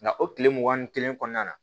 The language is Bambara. Nka o tile mugan ni kelen kɔnɔna na